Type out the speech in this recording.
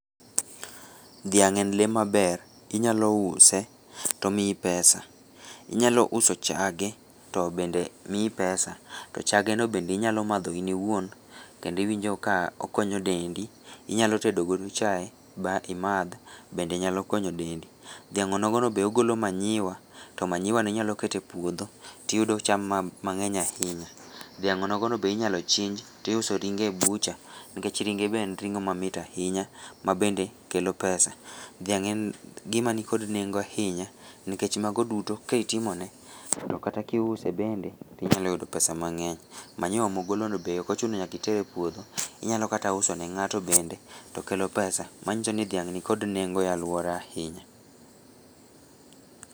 Dhiang' en lee maber, inyalouse to omiyi pesa, inyalouso chage to bende miyi pesa, to chageno bende inyalomadho in iwuon kendo iwinjo ka okonyo dendi, inyalotedo godo chae ba imadh, bende nyalo konyo dendi, dhiang' onogono be ogolo manure, to manureno inyaloketo e puodho to iyudo cham mang'eny ahinya, dhiang onogono be inyalochinj to iuso ringe e butcher nikech ringe be en ring'o mamit ahinya ma bende kelo pesa, dhiang' en gima nikod nengo ahinya nikech mago duto ka itimone to kata kiuse bende to inyaloyudo pesa mang'eny, manure mogolono be okochuno nyaka iter e puodho, inyalo kata uso ne ng'ato bende to kelo pesa, manyiso ni dhiang' nigi nengo ahinya e alwora.